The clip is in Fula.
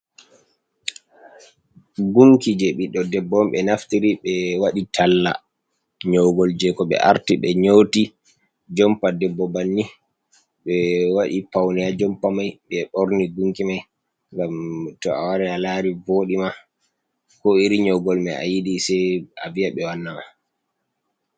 Gunki jei ɓiɗɗo debbo on ɓe naftiri ɓe waɗi i talla nyogol jei ko ɓe arti ɓe nyoti, jompa debbo banni ɓe waɗi paune ha jompa mai ɓe borni gunki mai ngam to a wari a lari voɗi ma, ko iri nyogol mai ayidi sai a vi'a ɓe wanna ma.